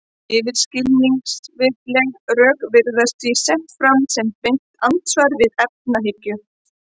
Yfirskilvitleg rök virðast því sett fram sem beint andsvar við efahyggju.